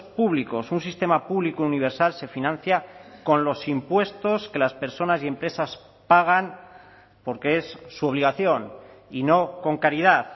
públicos un sistema público universal se financia con los impuestos que las personas y empresas pagan porque es su obligación y no con caridad